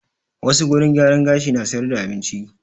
Wassu wurin gyaran gashi na sayar da abinci